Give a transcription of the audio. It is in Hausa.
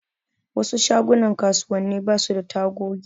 Wasu shagunan kasuwanni basu da tagogi.